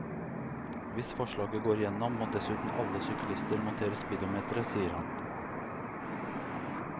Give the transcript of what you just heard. Hvis forslaget går igjennom, må dessuten alle syklister montere speedometer, sier han.